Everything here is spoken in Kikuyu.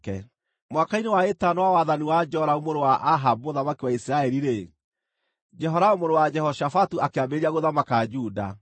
Mwaka-inĩ wa ĩtano wa wathani wa Joramu mũrũ wa Ahabu mũthamaki wa Isiraeli-rĩ, Jehoramu mũrũ wa Jehoshafatu akĩambĩrĩria gũthamaka Juda.